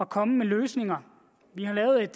komme med løsninger vi har lavet et